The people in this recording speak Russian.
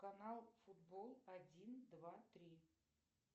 канал футбол один два три